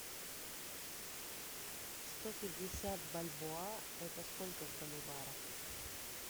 сто пятьдесят бальбоа это сколько в боливарах